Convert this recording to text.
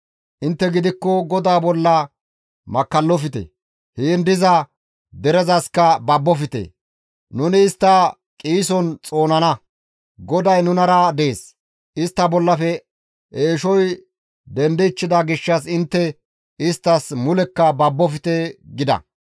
Intte gidikko GODAA bolla makkallofte! Heen diza derezaska babofte! Nuni istta qiison xoonana; GODAY nunara dees; istta bollafe eeshoy dendichchida gishshas intte isttas mulekka babbofte!» gida.